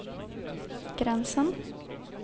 gränsen